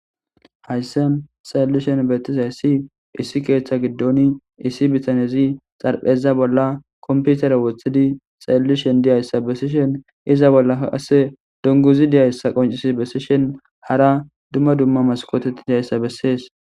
Hayssan xalellishen beettizayssi issi keeththa giddoni issi bitanezi xarpheza bolla komputere woththidi xallishen diyayssa bessishen iza bollaa qase dunguzi diyayssa qoncisi bessishen hara dumma dumma maskootei diyayssa bessees.